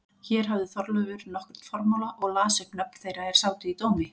Hér hafði Þorleifur nokkurn formála og las upp nöfn þeirra er sátu í dómi.